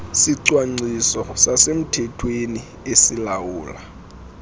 sicwangciso sasemthethweni esilawula